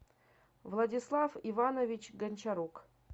владислав иванович гончарук